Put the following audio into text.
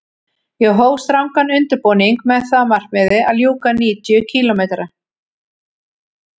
Ég hóf strangan undirbúning með það að markmiði að ljúka níutíu kílómetra